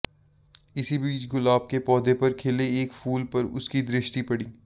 इसी बीच गुलाब के पौधे पर खिले एक फूल पर उसकी दृष्टि पड़ी